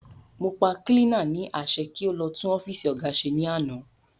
Mọ pa kílínà ní àṣẹ pé kí o lọ tún ọ́fìsì óga ṣe ní àná